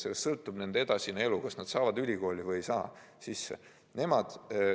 Nende edasine elu sõltub sellest, kas nad saavad ülikooli sisse või ei saa.